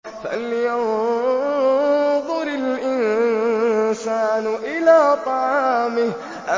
فَلْيَنظُرِ الْإِنسَانُ إِلَىٰ طَعَامِهِ